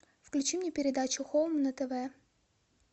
включи мне передачу хоум на тв